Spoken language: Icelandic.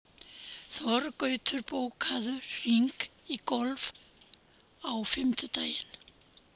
Þorgautur, bókaðu hring í golf á fimmtudaginn.